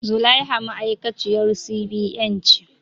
Zulaiha ma'aikaciyar C.B.N ce